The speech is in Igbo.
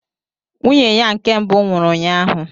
Nwunye ya nke mbụ nwụrụ ụnyaahụ.